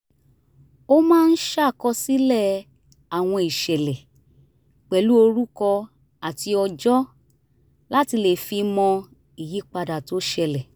ó máa ń ṣàkọsílẹ̀ àwọn ìṣẹ̀lẹ̀ pẹ̀lú orúkọ àti ọjọ́ láti le fi mọ ìyípadà tó ṣẹlẹ̀